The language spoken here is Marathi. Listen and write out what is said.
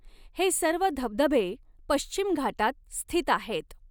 हे सर्व धबधबे पश्चिम घाटात स्थित आहेत.